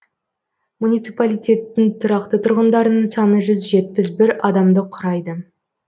муниципалитеттің тұрақты тұрғындарының саны жүз жетпіс бір адамды құрайды